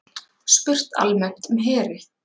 Spurt almennt um heri